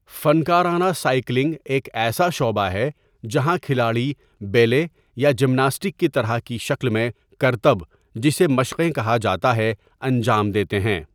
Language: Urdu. فنکارانہ سائیکلنگ ایک ایسا شعبہ ہے جہاں کھلاڑی بیلے یا جمناسٹک کی طرح کی شکل میں کرتب جسے مشقیں کہا جاتا ہے انجام دیتے ہیں.